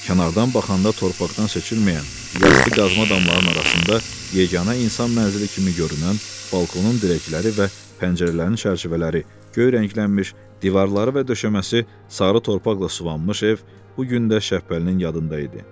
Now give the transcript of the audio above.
Kənardan baxanda torpaqdan seçilməyən, yastı qazma damlarının arasında yeganə insan mənzili kimi görünən, balkonun dirəkləri və pəncərələrin çərçivələri göy rənglənmiş, divarları və döşəməsi sarı torpaqla suvanmış ev bu gün də Şəhbəlinin yadında idi.